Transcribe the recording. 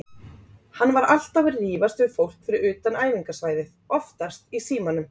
Hann var alltaf að rífast við fólk fyrir utan æfingasvæðið, oftast í símanum.